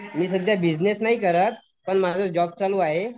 मी सध्या बिजनेस नाही करत पण माझा जॉब चालू आहे.